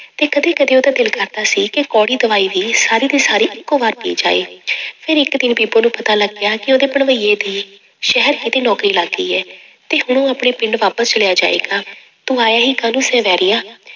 ਤੇ ਕਦੇ ਕਦੇ ਉਹਦਾ ਦਿਲ ਕਰਦਾ ਸੀ ਕਿ ਕੌੜੀ ਦਵਾਈ ਵੀ ਸਾਰੀ ਦੀ ਸਾਰੀ ਇੱਕੋ ਵਾਰ ਪੀ ਜਾਏ ਫਿਰ ਇੱਕ ਦਿਨ ਬੀਬੋ ਨੂੰ ਪਤਾ ਲੱਗਿਆ ਕਿ ਉਹਦੇ ਭਣੋਈਏ ਦੀ ਸ਼ਹਿਰ ਕਿਤੇ ਨੌਕਰੀ ਲੱਗ ਗਈ ਹੈ, ਤੇ ਹੁਣ ਉਹ ਆਪਣੇ ਪਿੰਡ ਵਾਪਸ ਚਲਿਆ ਜਾਏਗਾ, ਤੂੰ ਆਇਆ ਹੀ ਕਾਹਨੂੰ ਸੀ ਵੈਰੀਆ।